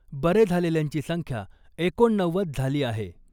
बरे झालेल्यांची संख्या एकोणनव्वद झाली आहे .